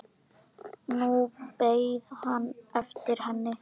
Nú beið hann eftir henni.